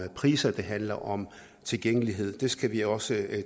priser det handler om tilgængelighed det skal vi også